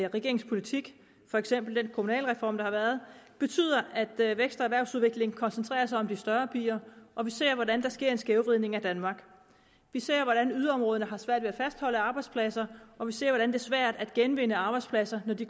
regeringens politik for eksempel den kommunalreform der har været betyder at vækst og erhvervsudvikling koncentrerer sig om de større byer og vi ser hvordan der sker en skævvridning af danmark vi ser hvordan yderområderne har svært ved at fastholde arbejdspladser og vi ser hvordan det er svært at genvinde arbejdspladser når de